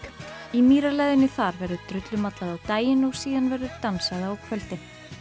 í þar verður drullumallað á daginn og síðan verður dansað á kvöldin